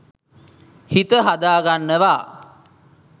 හිත හදා ගන්නවා.